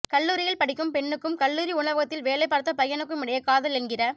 கல்லூரியில் படிக்கும் பெண்ணுக்கும் கல்லூரி உணவகத்தில் வேலைபார்த்த பையனுக்குமிடையே காதல் என்கிற